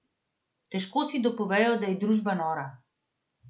Težko si dopovejo, da je družba nora.